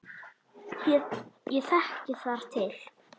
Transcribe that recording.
Ég þekki þar til.